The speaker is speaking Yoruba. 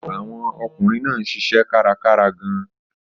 Àwọn ọkùnrin náà ń ṣiṣẹ́ kárakára gan-an.